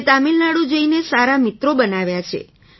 મેં તમિલનાડુ જઈને સારા મિત્રો બનાવ્યા છે